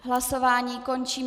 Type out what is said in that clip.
Hlasování končím.